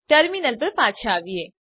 terminal પર પાછા આવીએ